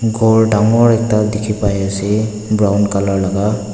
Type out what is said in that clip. ghor dangor ekta dikhipaiase brown colour laka.